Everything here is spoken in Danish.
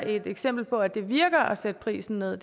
et eksempel på at det virker at sætte prisen ned at